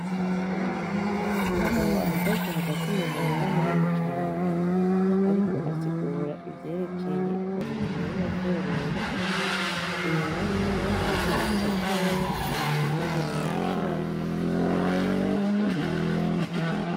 N'umugabo ahagaze hagati mu murima munini cane ariko asigura ivyerekeye uburimyi n'ubworozi inyuma yiwe hari akazu gatoyi kagenewe gushiramwo ivyo bamaze kwimbura.